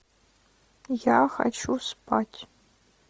я хочу спать